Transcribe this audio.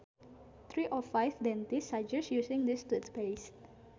Three out of five dentists suggest using this toothpaste